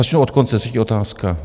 Začnu od konce - třetí otázka.